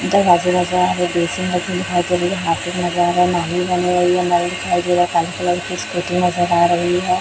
White colour की scooty नजर आ रही है।